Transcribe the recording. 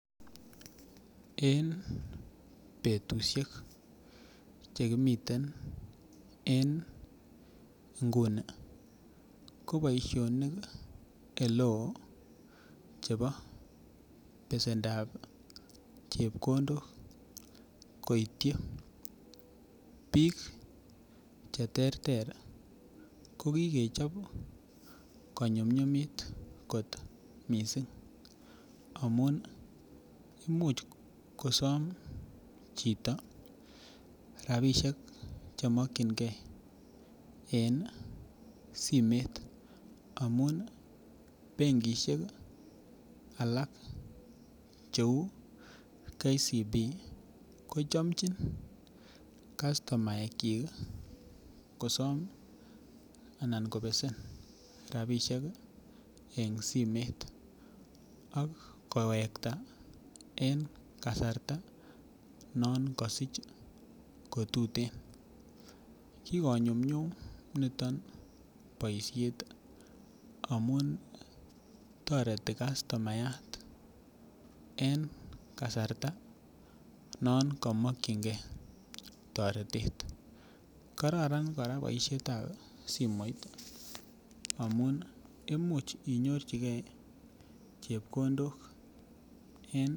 En betusiek chekimiten en nguni ko boisionik eleoo chebo besendap chepkondok koityi biik cheterter ko kikechob konyumnyumit kot missing amun imuch kosom chito rapisiek chemokyingee en simet amun benkisiek alak cheu Kenya Commercial Bank ko chomchin kastomaek kyik kosom anan kobesen en simet ak kowekta en kasarta non kosich kotuten. Kikonyumnyum niton boisiet amun toreti kastomayat en kasarta nekimokyingee toretet kararan kora boisiet ab simoit amun imuch inyorchigee chepkondok en